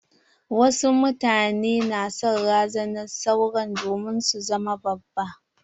Wasu mutane na son razanar saura domin su zama babba.